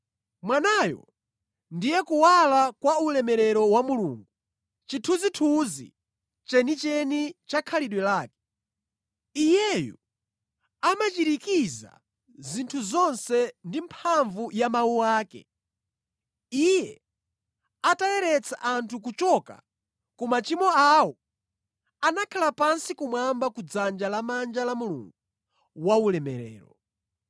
Mwanayo ndiye kuwala kwa ulemerero wa Mulungu, chithunzithunzi chenicheni cha khalidwe lake. Iyeyu amachirikiza zinthu zonse ndi mphamvu ya mawu ake. Iye atayeretsa anthu kuchoka ku machimo awo, anakhala pansi kumwamba kudzanja lamanja la Mulungu waulemerero.